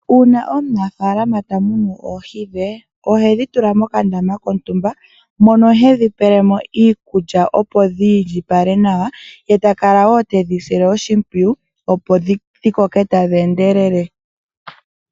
Uuna omunafaalama tamunu oohi dhe, ohedhi tula mokandama kontumba. Ohedhi pelemo iikulya opo dhiindjipale mbala, etedhi sile woo oshimpwiyu dhiwape okukoka tadhi endelele.